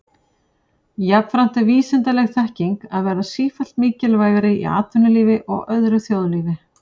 Jafnframt er vísindaleg þekking að verða sífellt mikilvægari í atvinnulífi og öðru þjóðlífi.